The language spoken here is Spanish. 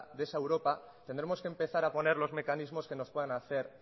de esa europa tendremos que empezar a poner los mecanismos que nos puedan hacer